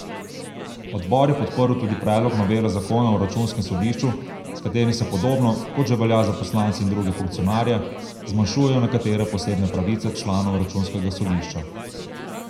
Odbor je podprl tudi predlog novele zakona o računskem sodišču, s katerim se podobno, kot že velja za poslance in druge funkcionarje, zmanjšujejo nekatere posebne pravice članov računskega sodišča.